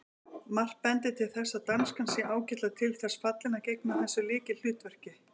Margt bendir til þess að danskan sé ágætlega til þess fallin að gegna þessu lykilhlutverki.